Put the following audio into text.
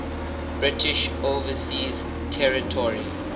british overseas territory